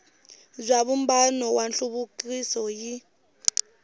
bya vumbano wa nhluvukiso yi